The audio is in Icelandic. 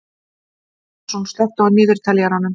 Árún, slökktu á niðurteljaranum.